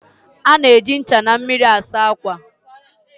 A na-eji ncha na mmiri asa ákwà